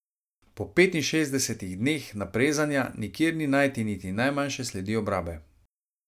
Po petinšestdesetih dneh naprezanja nikjer ni najti niti najmanjše sledi obrabe.